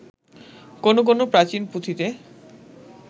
কোন কোন প্রাচীন পুঁথিতে